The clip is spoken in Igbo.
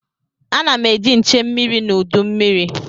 A na m eji nche mmiri n'udu mmiri.